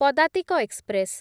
ପଦାତିକ ଏକ୍ସପ୍ରେସ୍‌